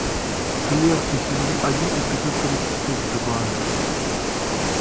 клерки сезон один эпизод тридцать два